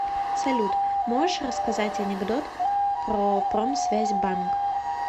салют можешь рассказать анекдот про промсвязьбанк